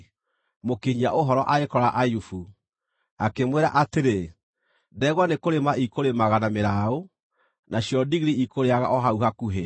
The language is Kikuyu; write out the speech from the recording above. mũkinyia-ũhoro agĩkora Ayubu, akĩmwĩra atĩrĩ, “Ndegwa nĩkũrĩma ikũrĩmaga na mĩraũ, nacio ndigiri ikũrĩĩaga o hau hakuhĩ,